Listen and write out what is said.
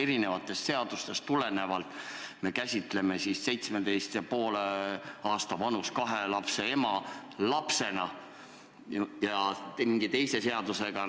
Mõnest seadusest tulenevalt me käsitleme 17,5 aasta vanust inimest lapsena, näiteks kui jutt on emast, kellel on nii vana järeltulija.